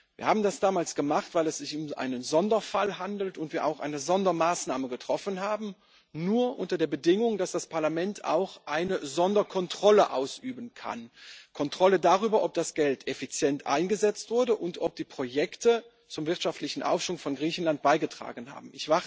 Wir haben das damals gemacht, weil es sich um einen Sonderfall handelt und wir auch eine Sondermaßnahme getroffen haben nur unter der Bedingung, dass das Parlament auch eine Sonderkontrolle ausüben kann, eine Kontrolle darüber, ob das Geld effizient eingesetzt wurde und ob die Projekte zum wirtschaftlichen Aufschwung von Griechenland beigetragen haben.